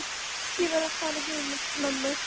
Ég verð að fara heim með mömmu.